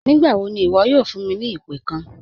Nígbàwọ́ ní iwo̩ yóò fún mi ni ìpẹ̀ kán?